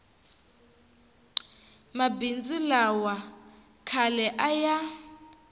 mabindzu lawa khale a ya